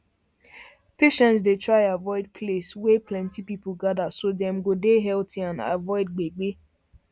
patients dey try avoid place wey plenty people gather so dem go dey healthy and avoid gbege